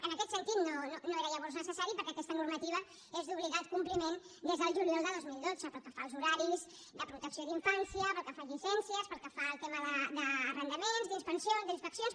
en aquest sentit no era llavors necessari perquè aquesta normativa és d’obligat compliment des del juliol de dos mil dotze pel que fa als horaris de protecció d’infància pel que fa a llicències pel que fa al tema d’arrendaments d’inspeccions